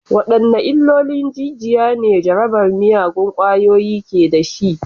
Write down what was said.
Wadanne illolin jijiya ne jarabar miyagun ƙwayoyi ke da shi?